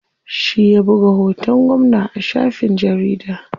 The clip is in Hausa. Shi ya buga hoton gwamna a shafin jarida.